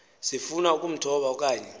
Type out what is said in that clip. sifuna ukumthoba okanye